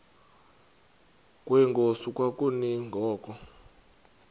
kwenkosi kwakumi ngoku